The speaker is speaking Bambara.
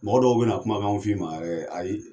Mɔgɔ dɔw bena kumakan f'ima yɛrɛ ayi